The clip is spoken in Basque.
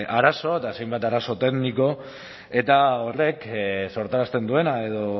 arazo eta hainbat arazo tekniko eta horrek sortarazten duena edo